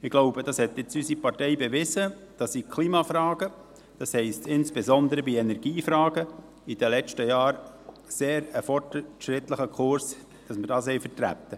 Ich glaube, unsere Partei hat jetzt bewiesen, dass sie in Klimafragen – das heisst, insbesondere in Energiefragen – in den letzten Jahren einen sehr fortschrittlichen Kurs vertrat.